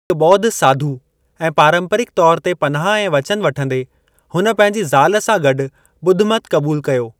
हिक ॿोध साधु ऐं पारंपरिक तौर ते पनाह ऐं वचन वठंदे, हुन पंहिंजी ज़ाल सां गॾु ॿुधमत क़बूल कयो।